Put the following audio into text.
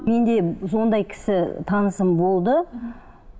менде ондай кісі танысым болды